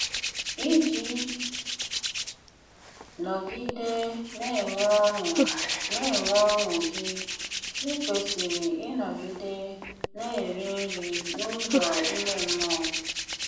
Íjí nógidé ná-enwé ọ́ṅú ná-enwé ọ́ṅú gí, íkwésírí ínọ́gidé ná-éri nri n’úzọ ímé mmụọ́.